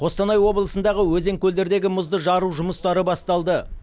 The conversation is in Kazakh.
қостанай облысындағы өзен көлдердегі мұзды жару жұмыстары басталды